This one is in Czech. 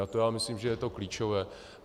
A to já myslím, že je to klíčové.